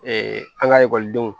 an ka ekɔlidenw